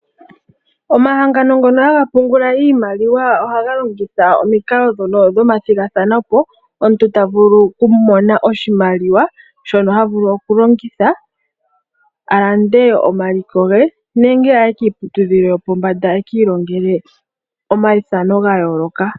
Omahangano ngono haga pungula iimaliwa ohaga longitha omikalo ndhono dhomathigathano. Omuntu ta vulu okumona oshimaliwa shono havulu okulongitha a lande omaliko ge, nenge aye kiiputudhilo yopombanda eki ilongele omaithano ga yooloka.